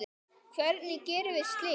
Hvernig gerum við slíkt?